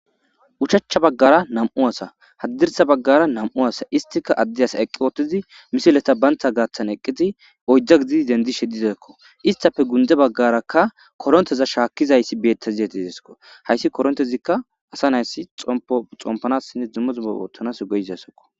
uchacha baggara nam7u asa haddirsa baggara nam7u asa istika adde as eqqi ootizi misileta baynta gaaththan eqqizi oyjja gididi dendishe dizkko istafe gunde baggarakka koronteza shaakkizayssi beettaziyatidesko hayssi korontezikka asa nayssi xomo xompanassine duma duma oottanas geiziasokko